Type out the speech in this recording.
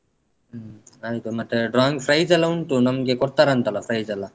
ಹ್ಮ್ ಆಯ್ತು ಮತ್ತೆ drawing price ಎಲ್ಲ ಉಂಟು ನಮ್ಗೆ ಕೊಡ್ತಾರಂತಲ್ಲ price ಎಲ್ಲ.